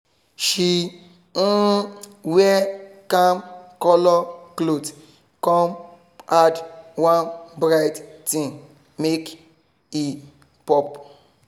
she um wear calm colour cloth come add one bright thing make e pop.